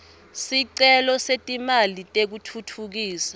sicelo setimali tekutfutfukisa